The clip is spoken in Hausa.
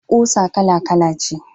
Kusa kala-kala ce.